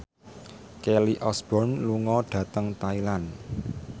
Kelly Osbourne lunga dhateng Thailand